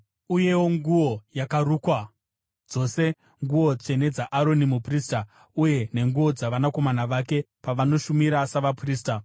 uyewo nguo yakarukwa, dzose nguo tsvene dzaAroni muprista uye nenguo dzavanakomana vake pavanoshumira savaprista,